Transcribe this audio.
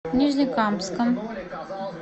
нижнекамском